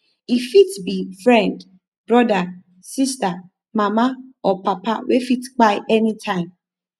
e fit bi friend broda sista mama or papa wey fit kpai anytime